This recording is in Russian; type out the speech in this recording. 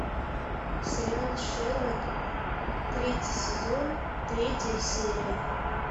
сериал шерлок третий сезон третья серия